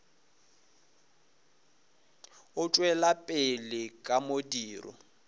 o tšwela pele ka modiro